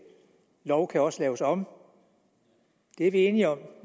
lov kan også laves om det er vi enige om